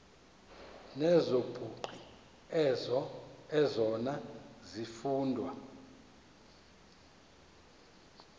nezobugqi ezona zifundo